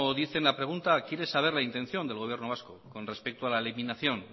dice la pregunta quiere saber la intención del gobierno vasco con respecto a la eliminación